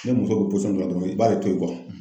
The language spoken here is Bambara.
Ni muso bi dɔ la dɔrɔn i b'ale to yen